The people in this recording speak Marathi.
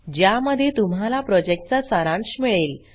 ज्यामध्ये तुम्हाला प्रॉजेक्टचा सारांश मिळेल